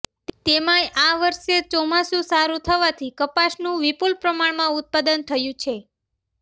તેમાંય આ વર્ષે ચોમાસુ સારૂ જવાથી કપાસનુ વિપુલ પ્રમાણમાં ઉત્પાદન થયુ છે